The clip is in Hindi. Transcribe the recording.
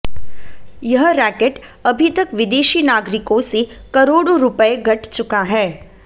यह रैकेट अभी तक विदेशी नागरिकों से करोड़ो रुपये गठ चुका है